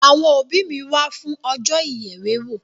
Àwọn òbí mi wá fún ọjọ́ ìyèwèwó.